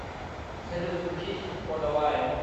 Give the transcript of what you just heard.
салют включить кодалайн